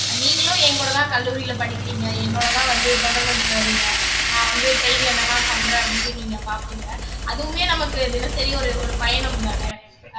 நீங்களும் என் கூட தான் கல்லூரியில படிக்கிறீங்க என்னோடதான் வந்து தொடர்வண்டியில வர்றீங்க நான் வந்து train ல என்னெல்லாம் பண்றேன் அப்படின்னு நீங்க பார்ப்பீங்க அதுவுமே நமக்கு தினசரி ஒரு ஒரு பயணம்தானே ஆஹ்